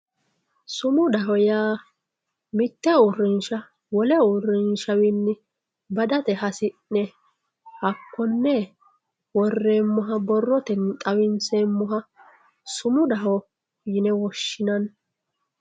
Sumudaho yaa mite uurinsha wole uurinshawinni badate hasine hakone wo'rremoha borrottenni xawinseemoha sumudaho yine woshinani